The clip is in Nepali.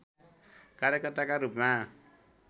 कार्यकर्ताका रूपमा